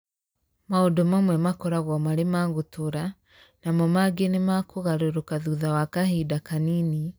Maũndũ mamwe makoragwo marĩ ma gũtũũra, namo mangĩ nĩma kũgarũrũka thutha wa kahinda kanini